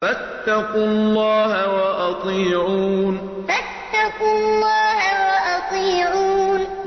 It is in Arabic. فَاتَّقُوا اللَّهَ وَأَطِيعُونِ فَاتَّقُوا اللَّهَ وَأَطِيعُونِ